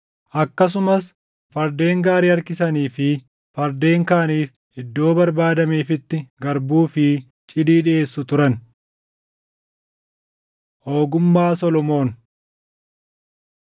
Akkasumas fardeen gaarii harkisanii fi fardeen kaaniif iddoo barbaadameefitti garbuu fi cidii dhiʼeessu turan. Ogummaa Solomoon